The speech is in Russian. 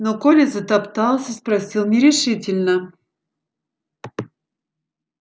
но коля затоптался спросил нерешительно